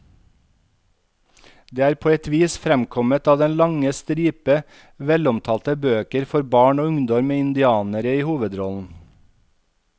Det er på et vis fremkommet av den lange stripe velomtalte bøker for barn og ungdom med indianere i hovedrollen.